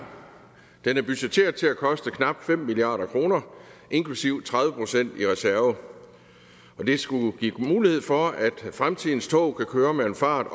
den er budgetteret til at koste knap fem milliard kroner inklusive tredive procent i reserve det skulle give mulighed for at fremtidens tog kan køre med en fart